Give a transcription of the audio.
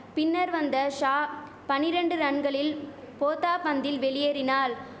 பின்னர் வந்த ஷா பனிரெண்டு ரன்களில் போத்தா பந்தில் வெளியேறினாள்